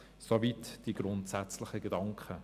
Soweit die grundsätzlichen Gedanken.